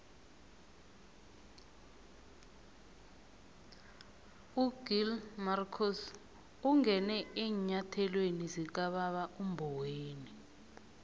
ugill marcus ungene eenyathelweni zikababa umboweni